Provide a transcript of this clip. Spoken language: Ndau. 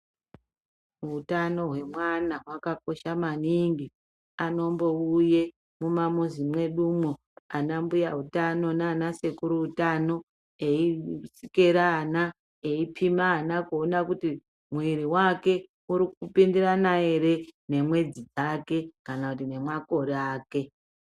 Hutano hwemwana hwakakosha maningi. Anombiuye mumamizi mwedumwo anambuya utano anansekuru utano eisikera ana eipima ana kuona kuti muwiri wake uri kupindirana ere nemwedzi dzake kana kuti nemakore ake.